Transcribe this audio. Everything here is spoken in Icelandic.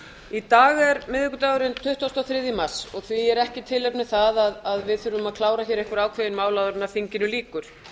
í dag er miðvikudagurinn tuttugasta og þriðja mars og því er ekki tilefnið það að við þurfum að klára einhver ákveðin mál áður en þinginu lýkur